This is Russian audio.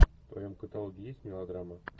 в твоем каталоге есть мелодрамы